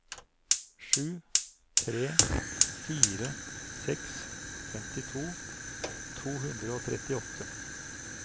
sju tre fire seks femtito to hundre og trettiåtte